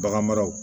Baganmaraw